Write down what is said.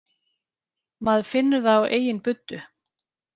Maður finnur það á eigin buddu